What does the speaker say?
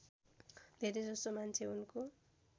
धेरैजसो मान्छे उनको